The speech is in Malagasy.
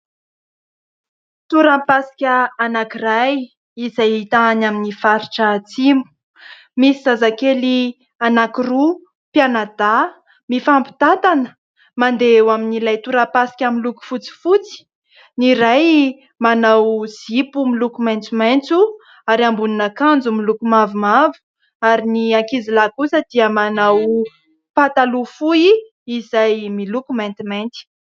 Torapasika anankiray izay hita any amin'ny faritra atsimo. Misy zazakely anankiroa mpianadahy mifampitantana mandeha eo amin'ilay torapasika miloko fotsifotsy. Ny iray manao zipo miloko maitsomaitso, ary ambonin'akanjo miloko mavomavo. Ary ny ankizilahy kosa dia manao pataloha fohy izay miloko maintimainty.